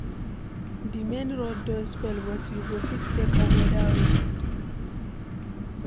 Di main road don spoil, but we go fit take another way.